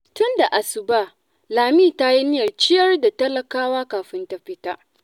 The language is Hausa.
Tun da asuba, Lami ta yi niyyar ciyar da talakawa kafin ta fita.